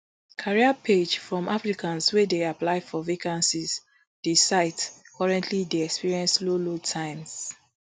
career page from applicants wey dey apply for vacancies di site currently dey experience slow load times